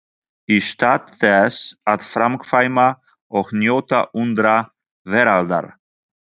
Í stað þess að framkvæma og njóta undra veraldar?